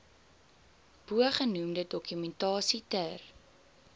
bogenoemde dokumentasie ter